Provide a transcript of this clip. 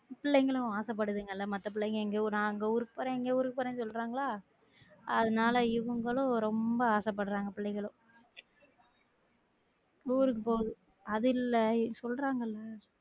பிள்ளைங்களும் ஆசப்படுத்துங்கள மத்த பிள்ளைங்க எங்கையோ நா அங்க ஊருக்கு போறன் இங்க ஊருக்கு போறேன்னு சொல்லுறாங்களா அதுனால இவங்களும் ரொம்ப ஆசைப்படுறாங்க பிள்ளைங்களும் ஊருக்கு போகுது அது இல்ல